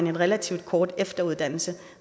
en relativt kort efteruddannelse